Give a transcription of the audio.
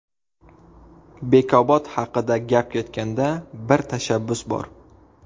Bekobod haqida gap ketganda, bir tashabbus bor.